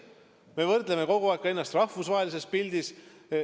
Me võrdleme kogu aeg ennast rahvusvahelises pildis.